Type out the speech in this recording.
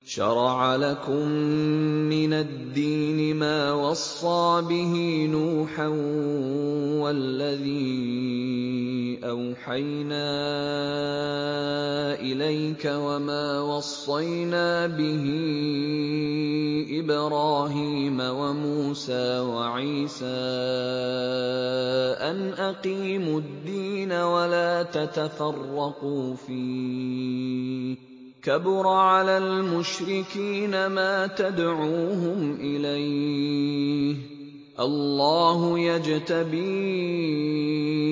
۞ شَرَعَ لَكُم مِّنَ الدِّينِ مَا وَصَّىٰ بِهِ نُوحًا وَالَّذِي أَوْحَيْنَا إِلَيْكَ وَمَا وَصَّيْنَا بِهِ إِبْرَاهِيمَ وَمُوسَىٰ وَعِيسَىٰ ۖ أَنْ أَقِيمُوا الدِّينَ وَلَا تَتَفَرَّقُوا فِيهِ ۚ كَبُرَ عَلَى الْمُشْرِكِينَ مَا تَدْعُوهُمْ إِلَيْهِ ۚ اللَّهُ يَجْتَبِي